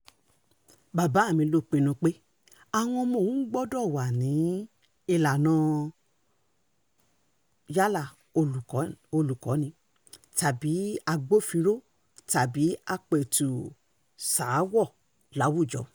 bàbá mi ló pinnu pé àwọn ọmọ òun gbọ́dọ̀ wà ní ìlànà yálà olùkọ́ni tàbí agbófinró tàbí àpètù-sàáwọ̀ láwùjọ